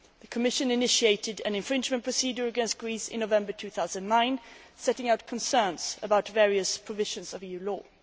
The Commission initiated infringement proceedings against Greece in November 2009, setting out concerns about various provisions of EU law.